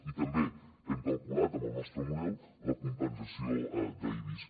i també hem calculat amb el nostre model la compensació d’ibis